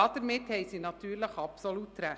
Damit haben sie natürlich absolut recht.